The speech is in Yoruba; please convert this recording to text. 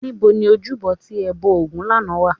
Níbo ni ojúbọ tí ẹ ti bọ ògún lánàá wà?